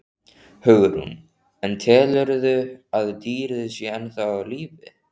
Hugrún: En telurðu að dýrið sé ennþá á lífi?